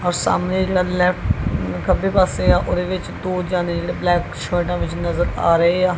ਔਰ ਸਾਹਮਨੇ ਜੇਹੜਾ ਲੇਫ਼੍ਟ ਖੱਬੇ ਪਾੱਸੇ ਆ ਓਹਦੇ ਵਿੱਚ ਦੋ ਜਨੇ ਜੇਹੜੇ ਬਲੈਕ ਸ਼ਰਟਾਂ ਵਿੱਚ ਨਜ਼ਰ ਆ ਰਹੇ ਹਾਂ।